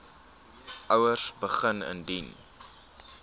ouers begin indien